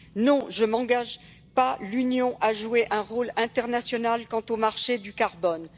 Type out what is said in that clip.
Non, je n'engage pas l'Union à jouer un rôle international quant aux marchés du carbone.